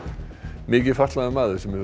mikið fatlaður maður sem hefur